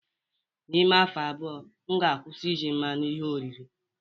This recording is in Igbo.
N'ime afọ abụọ, m ga-akwụsị iji mmanụ ihe oriri